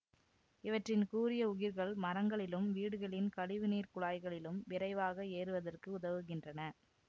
இவற்றின் கூரிய உகிர்கள் மரங்களிலும் வீடுகளின் கழிவு நீர்க் குழாய்களிலும் விரைவாக ஏறுவதற்கு உதவுகின்றன